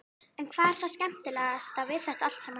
En hvað er það skemmtilegasta við þetta allt saman?